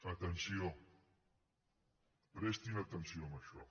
atenció prestin atenció a això